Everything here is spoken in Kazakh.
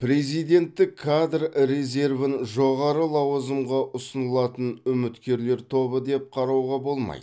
президенттік кадр резервін жоғары лауазымға ұсынылатын үміткерлер тобы деп қарауға болмайды